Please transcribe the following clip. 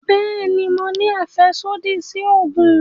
Bẹẹni, Mo ní afẹsodi si oogun